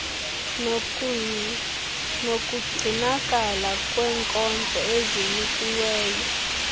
nokugcinakala kwenkonzo ezinikiweyo